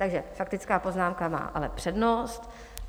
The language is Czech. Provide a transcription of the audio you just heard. Takže faktická poznámka má ale přednost.